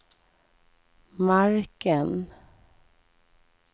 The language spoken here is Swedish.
marken